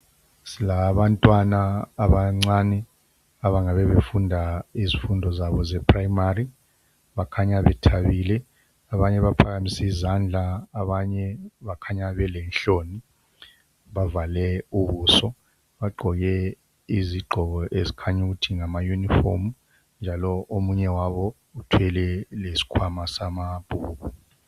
silabantwana abancane abangabe befunda izifundo zabo ze primary kukhanya bethabile abanye baphakamise izandla abanye bakhanya belenhloni bavale ubuso bagqoke izigqoko ezikhanya ukuthi ngama uniform njalo omunye wabo uthwele lesikhwama samabhuku